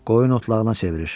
Qoyun otlağına çevirir.